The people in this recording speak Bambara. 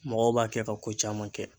Mɔgɔw b'a kɛ ka ko caman kɛ.